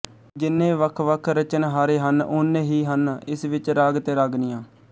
ਜਿੰਨੇ ਵੱਖਵੱਖ ਰਚਨਹਾਰੇ ਹਨ ਓਨੇ ਹੀ ਹਨ ਇਸ ਵਿੱਚ ਰਾਗ ਤੇ ਰਾਗਨੀਆਂ